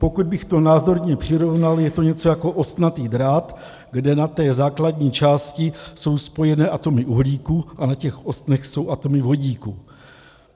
Pokud bych to názorně přirovnal, je to něco jako ostnatý drát, kde na té základní části jsou spojené atomy uhlíku a na těch ostnech jsou atomy vodíku.